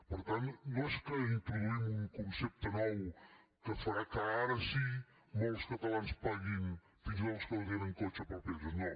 per tant no és que introduïm un concepte nou que farà que ara sí molts catalans paguin fins i tot els que no tenen cotxe pels peatges no